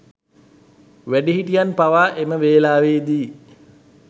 වැඩිහිටියන් පවා එම වෙලාවේදී